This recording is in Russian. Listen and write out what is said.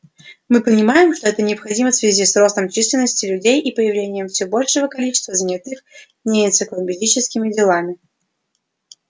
мы понимаем что это необходимо в связи с ростом численности людей и появлением всё большего количества занятых не энциклопедическими делами